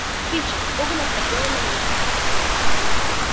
кичи испуганно смотрела на них